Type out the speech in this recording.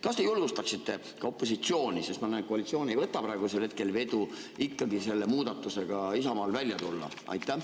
Kas te julgustaksite ka opositsiooni – ma näen, et koalitsioon ei võta praegusel hetkel vedu –, et ikkagi Isamaa selle muudatusega välja tuleks?